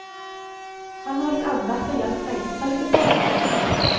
Han holdt andakt og hjalp reisefølget som var med han.